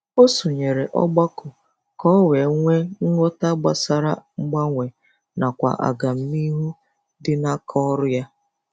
O sonyere ọgbakọ ka ọ wee nwee ghọta gbasara mgbanwe nakwa agamnihu dị n'aka ọrụ ya.